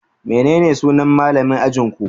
Menene sunan malamin ajinku?